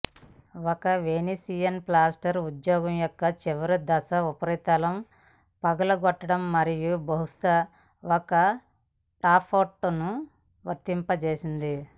ఒక Venetian plaster ఉద్యోగం యొక్క చివరి దశలు ఉపరితలం పగులగొట్టడం మరియు బహుశా ఒక టాప్కోట్ను వర్తింపచేస్తాయి